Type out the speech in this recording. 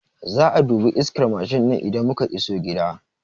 Za'a dubi iskar Mashin ɗin idan muka iso gida